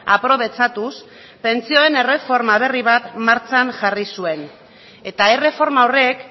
aprobetxatuz pentsioen erreforma berri bat martxan jarri zuen eta erreforma horrek